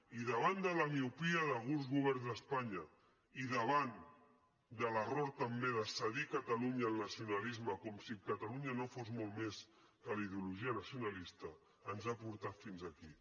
i davant de la miopia d’alguns governs d’espanya i davant de l’error també de cedir catalunya al nacionalisme com si catalunya no fos molt més que la ideologia nacionalista ens ha portat fins a aquí